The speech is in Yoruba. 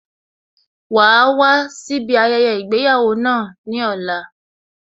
Wàá wá síbi ayẹyẹ ìgbéyàwó náà ní ọ̀la